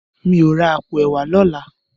Mi ó rá àpó èwá lòlá